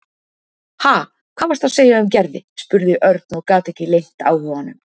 Ha, hvað varstu að segja um Gerði? spurði Örn og gat ekki leynt áhuganum.